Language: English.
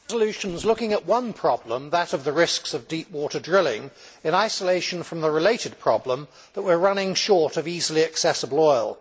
Madam President, the resolution is looking at one problem, that of the risks of deep water drilling, in isolation from the related problem that we are running short of easily accessible oil.